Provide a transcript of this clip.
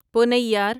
پونیار